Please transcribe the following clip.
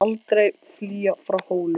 Ég mun aldrei flýja frá Hólum!